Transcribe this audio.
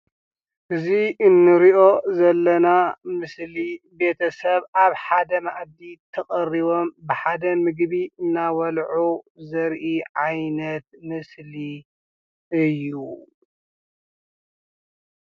እዚ ንርኦ ዘለና ምስሊ ቤተሰብ ኣብ ሓደ መኣዲ ተቀሪቦም ብሓደ ምግቢ እንዳበልዑ ዘርኢ ዓይነት ምስሊ እዩ።